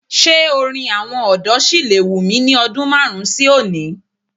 Ṣé orin àwọn ọ̀dọ́ òní lè wù mí ní ọdún márùn-ún sí oni?